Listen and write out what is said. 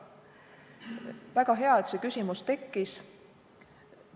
Väga hea, et see küsimus tekkis.